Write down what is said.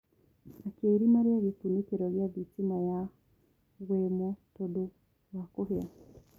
akĩa irima ria gikunikiro gia thitima ya wemo tondu wa kũhia